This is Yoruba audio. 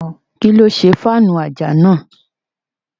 Kíló ṣe fáànù àjà náà?